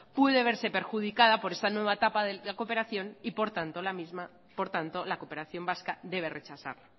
puede verse perjudicada por esta nueva etapa de la cooperación y por tanto la cooperación vasca debe rechazar